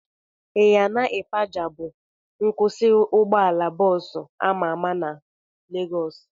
Ịyana ịpaja bụ ebe nkwụsị ụgbọala bọọsu ama ama na Legọs